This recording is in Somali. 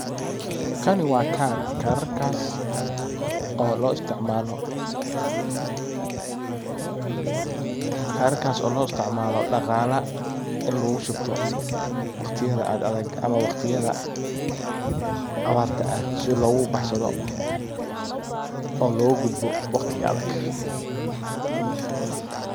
Kani waa kaar. Kaarkas oo loo isticmalo dhaqala ini lagushubto waqtiyada aad adag ama abaraha si logu baxsado oo logo gudbo waqtiga adag.